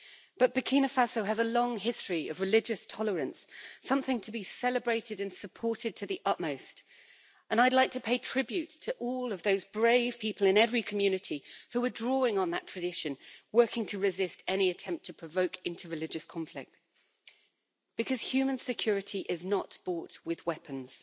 But Burkina Faso has a long history of religious tolerance, something to be celebrated and supported to the utmost, and I'd like to pay tribute to all of those brave people in every community who are drawing on that tradition, working to resist any attempt to provoke inter religious conflict, because human security is not bought with weapons.